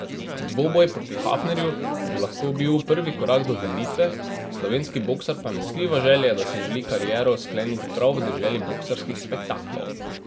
Dvoboj proti Hafnerju bi lahko bil prvi korak do vrnitve, slovenski boksar pa ne skriva želje, da si želi kariero skleniti prav v deželi boksarskih spektaklov.